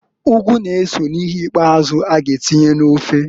Ugu g'eso n'ihe ikpazụ a g'atinye n'ofe.